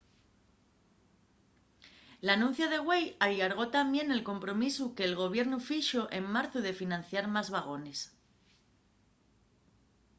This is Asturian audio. l’anuncia de güei allargó tamién el compromisu que’l gobiernu fixo en marzu de financiar más vagones